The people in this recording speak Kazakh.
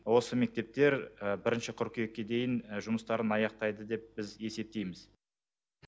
осы мектептер бірінші қыркүйекке дейін жұмыстарын аяқтайды деп біз есептейміз